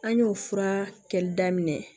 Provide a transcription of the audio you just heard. An y'o fura kɛli daminɛ